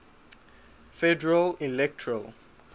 federal electoral